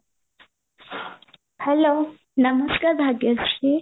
hello ନମସ୍କାର ଭାଗ୍ୟଶ୍ରୀ